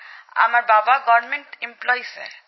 আমার বাবা সরকারী কর্মচারী স্যার